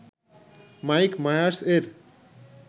mic Myers এর